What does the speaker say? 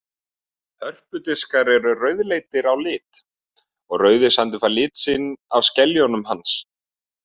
Hörpudiskur er rauðleitur á lit og Rauðasandur fær lit sinn af skeljum hans.